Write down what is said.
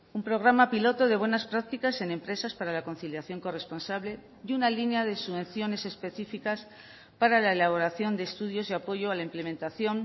un programa piloto de buenas prácticas en empresas para la conciliación corresponsable y una línea de subvenciones específicas para la elaboración de estudios y apoyo a la implementación